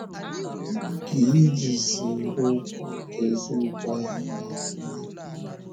Gịnị ka ijizi okwu nke eziokwu ahụ na - agụnye?